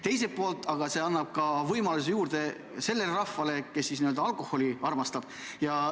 Teiselt poolt annab see võimalusi juurde sellele rahvale, kes alkoholi armastab.